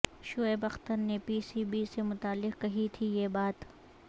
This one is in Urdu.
شعیب اختر نے پی سی بی سے متعلق کہی تھی یہ بات